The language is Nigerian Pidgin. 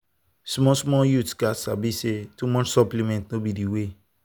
small small youths gats sabi say too much supplement no be the way.